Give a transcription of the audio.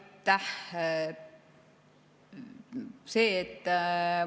Aitäh!